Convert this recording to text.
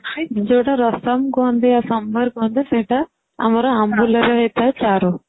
ଯୋଉଟା ରସମ କହନ୍ତି ସମ୍ବାର କହନ୍ତି ସେଇଟା ଆମର ଆମ୍ବୁଲରେ ହେଉଥାଏ ଚାରୁ